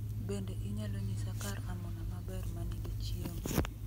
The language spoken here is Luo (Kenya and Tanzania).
Bende inyalo nyisa kar amuna maber ma nigi chiemo